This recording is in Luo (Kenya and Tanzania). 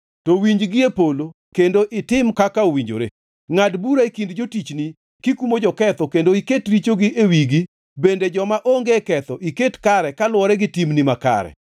to iwinji gi e polo kendo itim kaka owinjore. Ngʼad bura e kind jotichni kikumo joketho kendo iket richogi e wigi bende joma onge ketho iket kare kaluwore gi timgi makare.